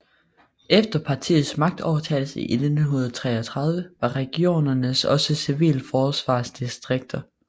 Efter partiets magtovertagelse i 1933 var regionerne også civilforsvarsdistrikter